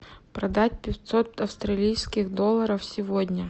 продать пятьсот австралийских долларов сегодня